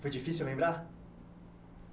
Foi difícil lembrar?